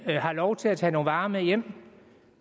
har lov til at tage nogle varer med hjem